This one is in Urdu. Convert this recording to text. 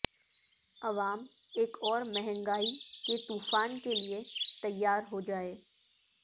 عوام ایک اور مہنگا ئی کے طو فان کیلئے تیار ہو جائیں